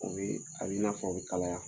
U bɛ a bɛ i n'a fɔ o bɛ kalaya